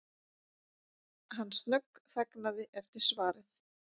Hann snöggþagnaði eftir svarið.